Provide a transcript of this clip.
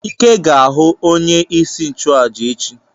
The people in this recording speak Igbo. Ike ga-aga ihu onye isi nchụaja echi.